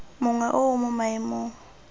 mongwe o o mo maemong